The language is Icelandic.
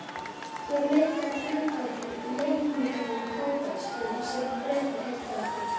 Hér leitaði flugbáturinn að leynilegum kafbátastöðvum, sem Bretar héldu að